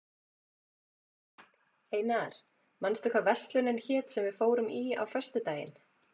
Einar, manstu hvað verslunin hét sem við fórum í á föstudaginn?